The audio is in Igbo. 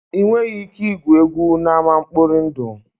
Ị nweghị ike igwu egwu n'ama nkpọri ndụ